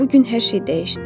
Bu gün hər şey dəyişdi.